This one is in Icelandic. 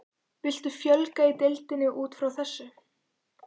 Viltu fjölga í deildinni útfrá þessu?